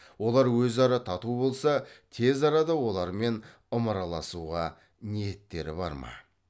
олар өзара тату болса тез арада олармен ымыраласуға ниеттері бар ма